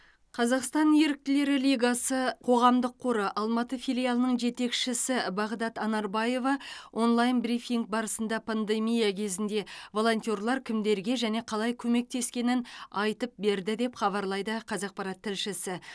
қазақстан еріктілері лигасы қоғамдық қоры алматы филиалының жетекшісі бағдат анарбаева онлайн брифинг барысында пандемия кезінде волонтерлар кімдерге және қалай көмектескенін айтып берді деп хабарлайды қазақпарат тілшісі